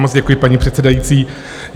Moc děkuji, paní předsedající.